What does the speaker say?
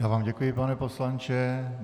Já vám děkuji, pane poslanče.